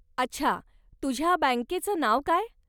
अच्छा, तुझ्या बॅंकेचं नाव काय?